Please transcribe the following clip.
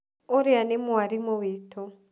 ũrĩa nĩ mwarimu witũ.